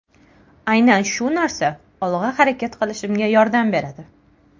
Aynan shu narsa olg‘a harakat qilishimga yordam beradi.